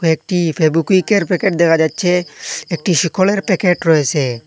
কয়েকটি ফেবুকুইকের প্যাকেট দেখা যাচ্ছে একটি শিখরের প্যাকেট রয়েসে।